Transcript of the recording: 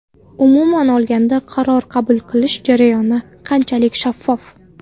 Umuman olganda, qaror qabul qilish jarayoni qanchalik shaffof?